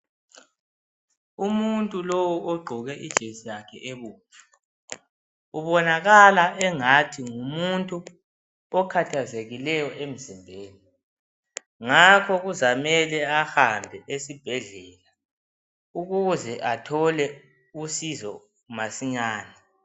Umuntu lowo ogqoke ijesi yakhe ebomvu ubonakala engathi ngumuntu okhathazekileyo emzimbeni ngakho kuzamele ahambe esibhedlela ukuze athole usizo masinyane.